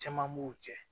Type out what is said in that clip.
Caman b'u cɛ